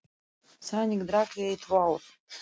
Þannig drakk ég í tvö ár.